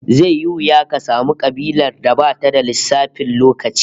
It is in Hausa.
Zai yi wuya ka samu kabilar da bata da lissafin lokaci